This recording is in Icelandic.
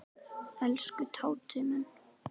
Elsku Tóti minn.